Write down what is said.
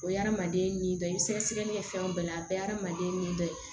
O ye adamaden ni dɔ ye sɛgɛsɛgɛli kɛ fɛn o bɛɛ la a bɛɛ ye adamaden ni dɔ ye